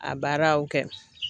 A baaraw kɛ.